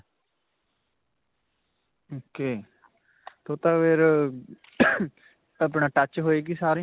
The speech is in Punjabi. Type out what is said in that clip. ok. ਤਾਂ ਫਿਰ ਆਪਣਾ touch ਹੋਏਗੀ ਸਾਰੀ.